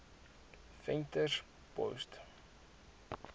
venterspost